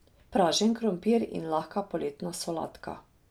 Pražen krompir in lahka poletna solatka.